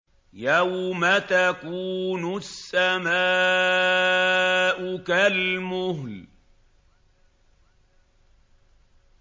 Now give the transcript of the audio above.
يَوْمَ تَكُونُ السَّمَاءُ كَالْمُهْلِ